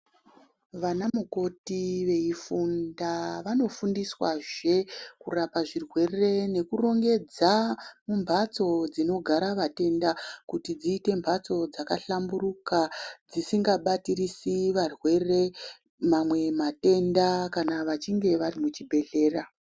Vanamukoti veifunda vanofundiswazve kurapa zvirwere, nekurongedza mumbatso dzinogara vatenda, kuti dziite mbatso dzakahlamburuka dzisingabatirisi varwere mamwe matenda vachinge varimuchibhedhlera.